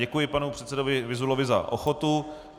Děkuji panu předsedovi Vyzulovi za ochotu.